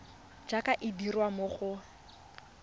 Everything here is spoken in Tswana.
jaaka e dirwa mo go